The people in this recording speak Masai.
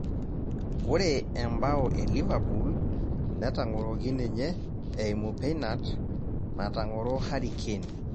Ore embao eliverpool netang'oroki ninye eimu penat natong'oro Harry Kane